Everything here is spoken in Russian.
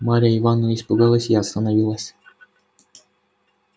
марья ивановна испугалась и остановилась